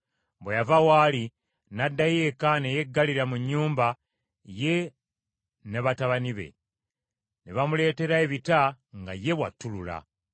Bwe yava waali n’addayo eka ne yeggalira mu nnyumba ye n’abaana be. Ne bamuleetera ebita nga ye bw’attulula.